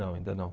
Não, ainda não.